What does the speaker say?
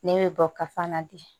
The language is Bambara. Ne bɛ bɔ kafan na bi